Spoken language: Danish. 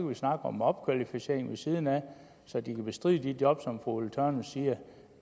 vi snakke om opkvalificering ved siden af så de kan bestride de job som fru ulla tørnæs siger